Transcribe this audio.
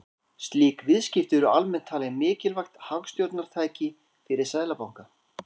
Slík viðskipti eru almennt talin mikilvægt hagstjórnartæki fyrir seðlabanka.